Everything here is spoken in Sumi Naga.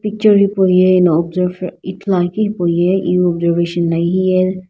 picture hipauye ino observe ithuluakeu hipauye iwu observation la hiye.